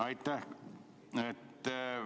Aitäh!